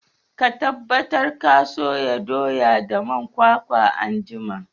Ka tabbatar ka soya doya da man kwakwa anjima!